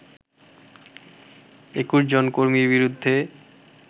২১ জন কর্মীর বিরুদ্ধে